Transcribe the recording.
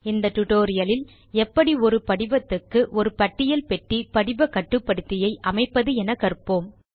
இந்த டியூட்டோரியல் இல் எப்படி ஒரு படிவத்துக்கு ஒரு பட்டியல் பெட்டி படிவ கட்டுப்படுத்தியை அமைப்பது என கற்போம்